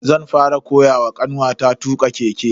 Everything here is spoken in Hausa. zan fara koyawa kanwata tuka keke.